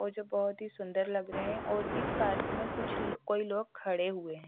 मुझे बहोत ही सुंदर लग रहे हैं और इस पार्क में कुछ लो कोई लोग खड़े हुए है।